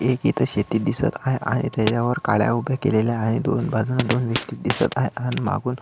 एक इथ शेती दिसत आहे त्याच्यावर काड्या उभ्या केलेल्या आहेत दोन बाजून दोन व्यक्ति दिसत आहे आणि मागून --